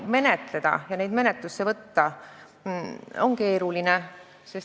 Seetõttu on neid asju menetlusse võtta ja menetleda keeruline.